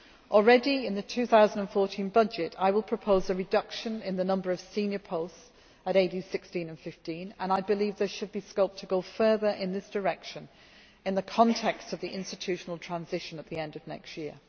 Already in the 2014 budget I will propose a reduction in the number of senior posts at AD 16 and AD15, and I believe there should be scope to go further in this direction in the context of the institutional transition at the end of next